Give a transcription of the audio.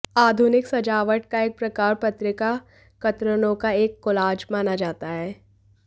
आधुनिक सजावट का एक प्रकार पत्रिका कतरनों का एक कोलाज माना जाता है